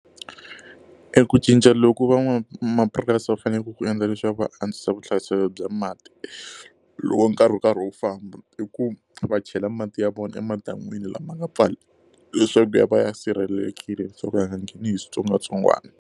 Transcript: E ku cinca loku van'wamapurasi va faneleke ku endla leswaku va antswisa vuhlayiselo bya mati loko nkarhi wu karhi wu famba, i ku va chela mati ya vona emadan'wini lama nga pfala leswaku ya va ya sirhelelekile leswaku a nga ngheni hi switsongwatsongwana.